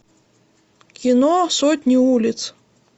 кино сотни улиц